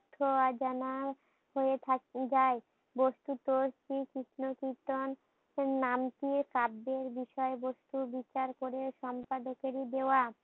অজানা হয়ে থাকি যায়। বস্তুত শ্রী কৃষ্ণ কীর্তন নামটি কাব্যের বিষয় বস্তু বিচার করে সম্পাদকের দেয়া।